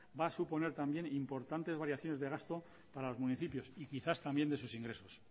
va a suponer también importantes variaciones de gasto para los municipios y quizás también de sus ingresos